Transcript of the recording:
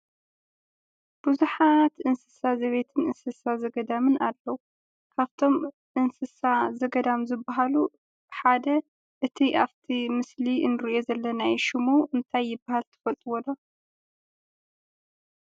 ብዙሓት እንስሳ ዘቤትን እንስሳ ዘገዳምን ኣለዉ። ካብቶም እንስሳ ዘገዳም ዝበሃሉ ሓደ እቲ ኣብቲ ምስሊ ንሪኦ ዘለና እዩ፡፡ ሽሙ እንታይ ይበሃል ትፈልጡዎ ዶ?